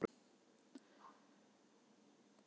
Fjölnir Hver var átrúnaðargoð þitt á yngri árum?